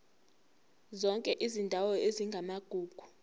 zonke izindawo ezingamagugu